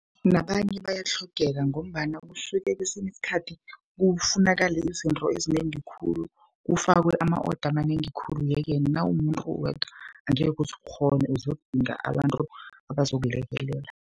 Nabanye bayatlhogeka, ngombana kusuke kesinye isikhathi kufunakale izinto ezinengi khulu, kufakwe ama-order amanengi khulu. Ye-ke nawumumuntu uwedwa angeke uzukghone, uzokudinga abantu abazokulekelela.